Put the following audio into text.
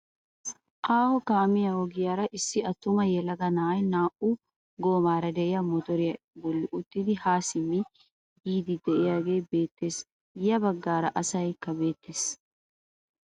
Aaho kaamiyaa ogiyaara issi attuma yelaga na'ay naa"u goomaara de'iyaa motoriyaa bolli uttidi haa simmidi yiidi de'iyaagee beettees. ya baggaara asaykka beettees.